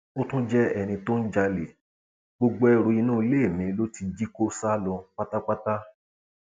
ó tún jẹ ẹni tó ń jalè gbogbo ẹrù inú ilé mi ló ti jí kó sá lọ pátápátá